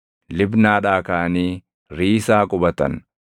Libnaadhaa kaʼanii Riisaa qubatan.